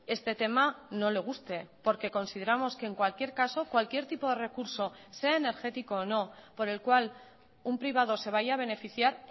este tema no le guste porque consideramos que en cualquier caso cualquier tipo de recurso sea energético o no por el cual un privado se vaya a beneficiar